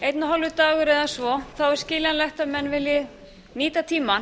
einn og hálfur dagur eða svo er skiljanlegt að menn vilji nýta tímann